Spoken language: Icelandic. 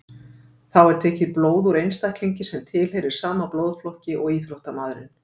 Þá er tekið blóð úr einstaklingi sem tilheyrir sama blóðflokki og íþróttamaðurinn.